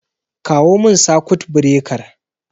Kawo min sakut birekar